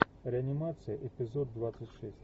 реанимация эпизод двадцать шесть